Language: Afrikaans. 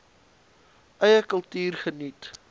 eie kultuur geniet